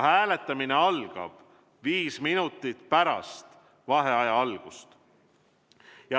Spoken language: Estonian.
Hääletamine algab viis minutit pärast vaheaja algust.